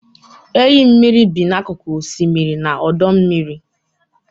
Enyi mmiri bi n'akụkụ osimiri na ọdọ mmiri.